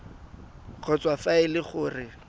kgotsa fa e le gore